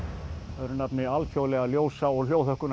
öðru nafni Alþjóðlega ljósa og